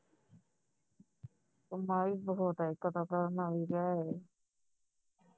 ਕਮਾਈ ਬਹੁਤ ਹੈ